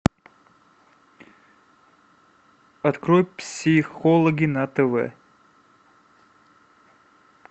открой психологи на тв